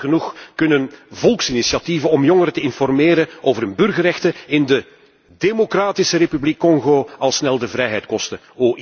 Jammer genoeg kunnen volksinitiatieven om jongeren te informeren over hun burgerrechten in de Democratische Republiek Congo al snel de vrijheid kosten.